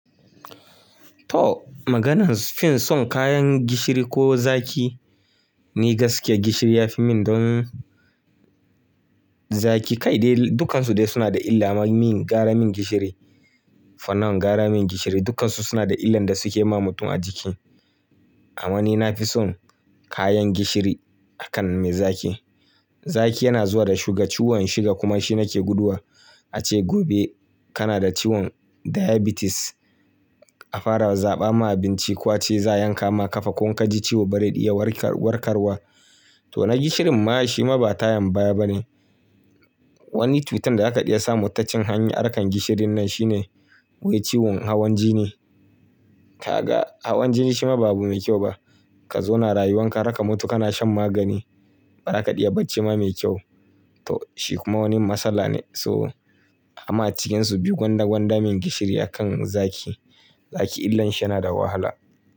Toh, maganar fin son kayan gishiri ko zaki, ni gaskiya gishiri ya fi min, don zaki Kai dai dukansu dai suna da illa ma min, gara min gishiri. For now gara min gishiri dukansu suna da illan da suke ma mutum a jiki. Amma ni na fi son kayan gishiri akan mai zaki. Zaki yana zuwa da shuga, ciwon shuga kuma shi nake guduwa. Ace gobe kana da ciwon diabetes a fara zaɓa ma abinci, ko ace za'a yanka ma kafa, ko in ka ji ciwo bari iya warkarwa. To na gishirin ma shi ma ba tayan baya bane. Wani cutan da zaka iya samu ta cin hanyar, harkan gishirin nan shine wai ciwon hawan jini. Ka ga hawan jini shi ma ba abu mai kyau ba. Ka zo na rayuwan ka harka mutu kana shan magani. Bara ka iya bacci ma mai kyau. To, shi kuma wani matsala ne, so, amma a cikin su biyu gwanda-gwanda min gishiri akan zaki. Zaki illar shi yana da wahala.